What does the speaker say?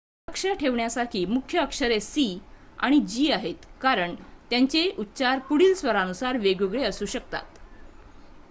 लक्ष ठेवण्यासारखी मुख्य अक्षरे सी आणि जी आहेत कारण त्यांचे उच्चार पुढील स्वरानुसार वेगवेगळे असू शकतात